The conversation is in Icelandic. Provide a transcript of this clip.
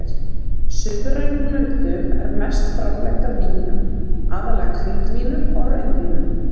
suðrænum löndum er mest framleitt af vínum, aðallega hvítvínum og rauðvínum.